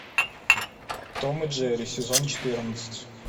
том и джерри сезон четырнадцать